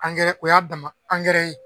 o y'a dama ye.